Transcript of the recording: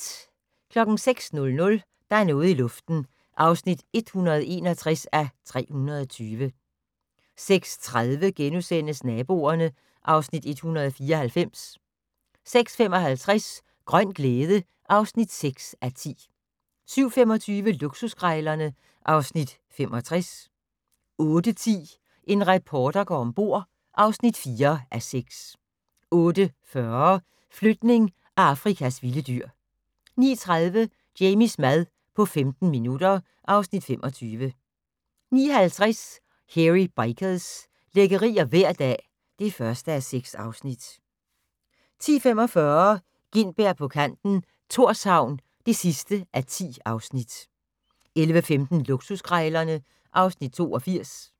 06:00: Der er noget i luften (161:320) 06:30: Naboerne (Afs. 194)* 06:55: Grøn glæde (6:10) 07:25: Luksuskrejlerne (Afs. 65) 08:10: En reporter går om bord (4:6) 08:40: Flytning af Afrikas vilde dyr 09:30: Jamies mad på 15 minutter (Afs. 25) 09:50: Hairy Bikers - lækkerier hver dag (1:6) 10:45: Gintberg på kanten - Thorshavn (10:10) 11:15: Luksuskrejlerne (Afs. 82)